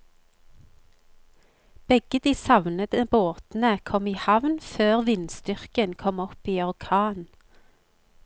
Begge de savnede båtene kom i havn før vindstyrken kom opp i orkan.